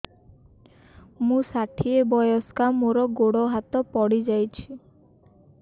ମୁଁ ଷାଠିଏ ବୟସ୍କା ମୋର ଗୋଡ ହାତ ପଡିଯାଇଛି